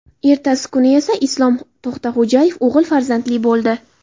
Ertasi kuni esa Islom To‘xtaxo‘jayev o‘g‘il farzandli bo‘ldi.